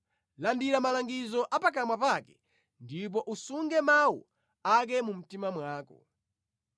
Landira malangizo a pakamwa pake ndipo usunge mawu ake mu mtima mwako.